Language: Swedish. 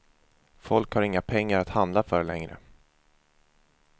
Folk har inga pengar att handla för längre.